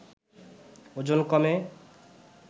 ওজন কমে